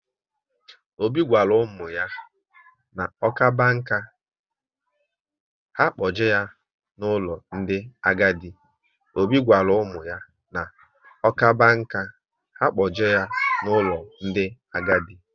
Obi gwara ụmụ ya na ọ kaba nkà, ha kpoje ya n'ụlọ ndị agadi